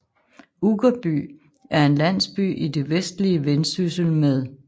Uggerby er en landsby i det vestlige Vendsyssel med